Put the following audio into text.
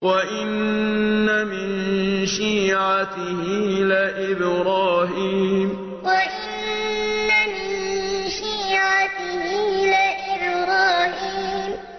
۞ وَإِنَّ مِن شِيعَتِهِ لَإِبْرَاهِيمَ ۞ وَإِنَّ مِن شِيعَتِهِ لَإِبْرَاهِيمَ